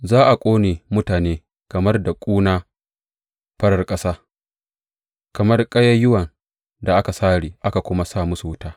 Za a ƙone mutane kamar da ƙuna farar ƙasa; kamar ƙayayyuwan da aka sare aka kuma sa musu wuta.